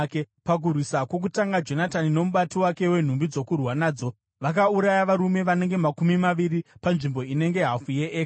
Pakurwisa kwokutanga, Jonatani nomubati wake wenhumbi dzokurwa nadzo vakauraya varume vanenge makumi maviri panzvimbo inenge hafu yeeka.